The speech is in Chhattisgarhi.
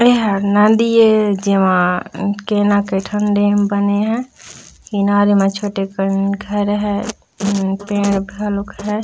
ये हा नदी ए जेमा कई न कई ठा डैम बने हे किनारे म छोटे कन घर है अम्म पेड़ घलोक है।